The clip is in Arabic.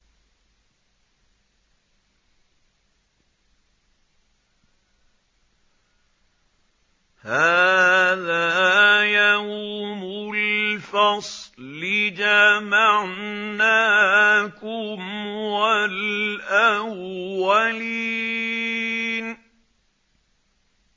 هَٰذَا يَوْمُ الْفَصْلِ ۖ جَمَعْنَاكُمْ وَالْأَوَّلِينَ